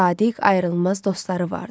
Sadiq ayrılmaz dostları vardır.